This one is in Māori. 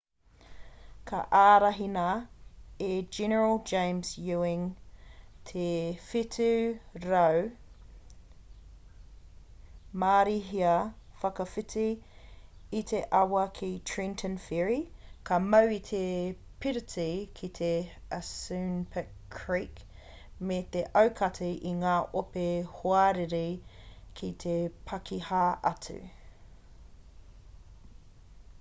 ka ārahina e general james ewing te 700 marīhia whakawhiti i te awa ki trenton ferry ka mau i te piriti ki te assunpink creek me te aukati i ngā ope hoariri i te pakiha atu